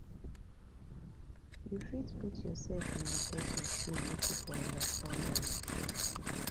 you fit put yourself in di persin shoe make you for understand am